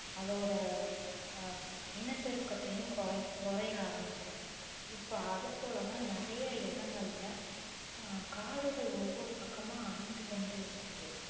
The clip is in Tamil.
அதோட ஆஹ் இனப்பெருக்கத்தையும் குறை~ குறைய ஆரம்பிச்சிடும் இப்ப அது போலதான் நிறைய இடங்கள்ல அஹ் காடுகள் ஒவ்வொரு பக்கம அழிஞ்சு கொண்டே இருக்குது